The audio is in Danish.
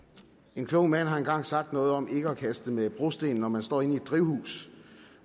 en klog mand har engang sagt noget om ikke at kaste med brosten når man står inde i drivhus